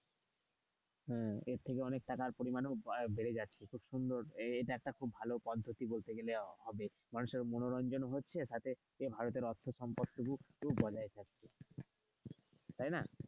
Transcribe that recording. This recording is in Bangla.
হুম্এর থেকে অনেক টাকার পরিমাণও আহ বেড়ে যাচ্ছে খুব সুন্দর এইটা একটা ভালো পদ্ধতি বলতে গেলে হবে মানুষের মনোরঞ্জন হচ্ছে সাথে ভারতের অর্থ সম্পদ টুকু বজায় থাকছে। তাই না?